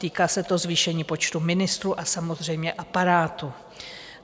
Týká se to zvýšení počtu ministrů a samozřejmě aparátu.